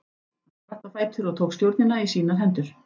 Hann spratt á fætur og tók stjórnina í sínar hendur.